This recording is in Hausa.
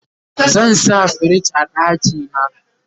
zan sa firij a ɗakina